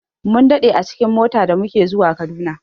Mun daɗe a cikin mota da muke zuwa Kaduna.